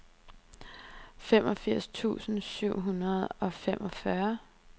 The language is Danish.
femogfirs tusind syv hundrede og femogfyrre